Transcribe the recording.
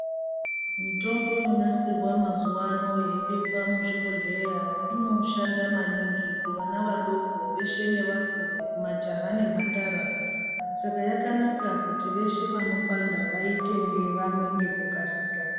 Mitombo yonasirwa mazuvano yeibekwa muzvibhehleya inoshanda maningi kuvana vadoko veshe nevakuru majaya nemhandara saka yakanaka kuti veshe vanopanda vaitenge vamwe ngekukasika.